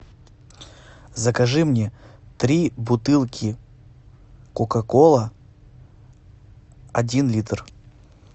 закажи мне три бутылки кока кола один литр